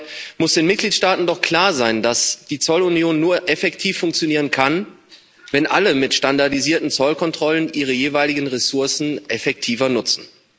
Dabei muss den Mitgliedstaaten doch klar sein, dass die Zollunion nur effektiv funktionieren kann, wenn alle mit standardisierten Zollkontrollen ihre jeweiligen Ressourcen effektiver nutzen.